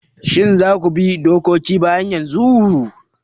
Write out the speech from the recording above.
Shin za ku bi duk dokoki bayan yanzu?